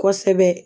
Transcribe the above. Kosɛbɛ